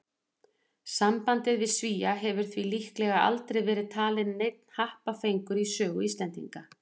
Sambandið við Svía hefur því líklega aldrei verið talinn neinn happafengur í sögu Íslendinga.